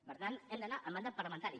per tant hem d’anar al mandat parlamentari